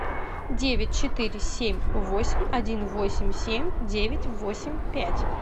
девять четыре семь восемь один восемь семь девять восемь пять